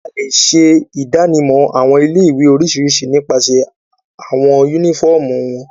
A le ṣe idanimọ awọn ile-iwe oriṣiriṣi nipasẹ awọn unifọmú wọn